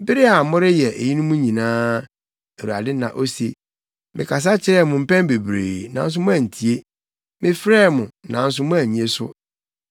Bere a moreyɛ eyinom nyinaa, Awurade na ose, mekasa kyerɛɛ mo mpɛn bebree, nanso moantie; mefrɛɛ mo, nanso moannye so.